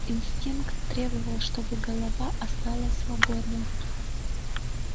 инстинкт требовал чтобы голова осталась свободной